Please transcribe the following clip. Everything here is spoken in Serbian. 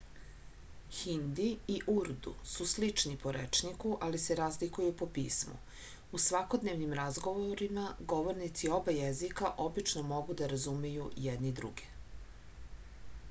hindi i urdu su slični po rečniku ali se razlikuju po pismu u svakodnevnim razgovorima govornici oba jezika obično mogu da razumeju jedni druge